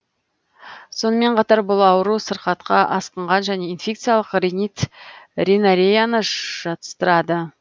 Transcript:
сонымен қатар бұл ауру сырқатқа асқынған және инфекциялық ринит ринореяны жатыстырады